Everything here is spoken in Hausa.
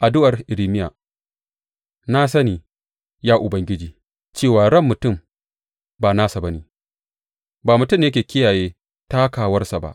Addu’ar Irmiya Na sani, ya Ubangiji, cewa ran mutum ba nasa ba ne; ba mutum ne yake kiyaye takawarsa ba.